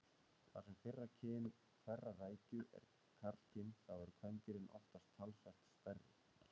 Þar sem fyrra kyn hverrar rækju er karlkyn þá eru kvendýrin oftast talsvert stærri.